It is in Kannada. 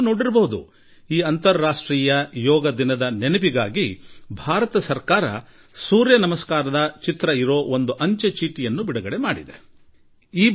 ಕಳೆದ ವಾರ ಭಾರತ ಸರ್ಕಾರ ಅಂತಾರಾಷ್ಟ್ರೀಯ ಯೋಗ ದಿನದ ಸಂದರ್ಭದಲ್ಲಿ ಯೋಗದ ಅಂಗವಾಗಿ ಸೂರ್ಯ ನಮಸ್ಕಾರದ ಅಂಚೆ ಚೀಟಿ ಬಿಡುಗಡೆ ಮಾಡಿದ್ದನ್ನು ನೀವು ಗಮನಿಸಿರಬಹುದು